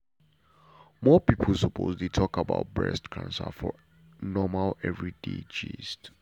more people suppose dey talk about breast cancer for normal everyday gist.